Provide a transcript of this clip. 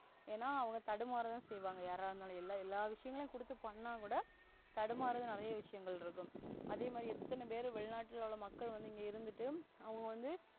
ஏன்னா அவங்க தடுமாறதா செய்வாங்க. யாரா இருந்தாலும் என எல்லா விஷயங்களும் கொடுத்து பண்ணாகூட தடுமாறும் நிறைய விஷயங்கள் இருக்கும். அதே மாதிரி எத்தன பேரு வெளிநாட்டுல மக்கள் வந்து இங்க இருந்துட்டு அவன் வந்து.